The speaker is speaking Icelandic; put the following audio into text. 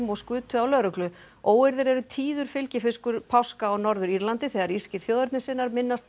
og skutu á lögreglu óeirðir eru tíður fylgifiskur páska á Norður Írlandi þegar írskir þjóðernissinnar minnast